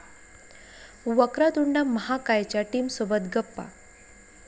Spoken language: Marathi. वक्रतुंड महाकाय'च्या टीमसोबत गप्पा